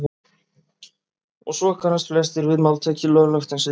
Og svo kannast flestir við máltækið löglegt en siðlaust.